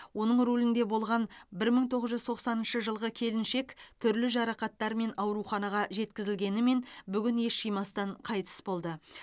оның рулінде болған бір мың тоғыз жүз тоқсаныншы жылғы келіншек түрлі жарақаттармен ауруханаға жеткізілгенімен бүгін ес жимастан қайтыс болды